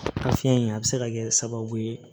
A fiɲɛ in a bɛ se ka kɛ sababu ye